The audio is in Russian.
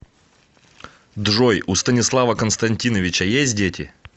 джой у станислава константиновича есть дети